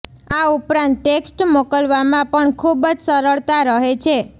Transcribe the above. આ ઉપરાંત ટેક્સ્ટ મોકલવામાં પણ ખૂબ જ સરળતાં રહે છે